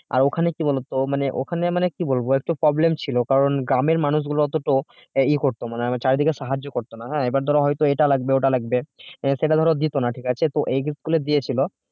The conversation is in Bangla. আর ওখানে কি বলতো মানে ওখানে মানে কি বলব একটু problem ছিল কারণ কারন গ্রামের মানুষগুলো এতটাও মানে চারিদিকে সাহায্য করত এবার ধরা হতো এটা লাগবে ওটা লাগবে আহ সেটা ধরো দিত না ঠিক আছে তো এ গুলো দিয়েছিল